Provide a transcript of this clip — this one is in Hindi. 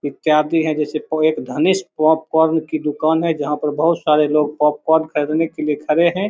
इत्यादि है जैसे प एक धानिस्ट पॉपकॉर्न की दुकान है जहाँ पर बहुत सारे लोग पॉपकॉर्न खरीदने के लिए खड़े हैं।